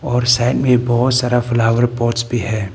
और साइड में बहुत सारा फ्लावर पॉट्स भी है।